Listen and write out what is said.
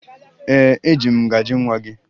Ee, eji m ngaji nwa gị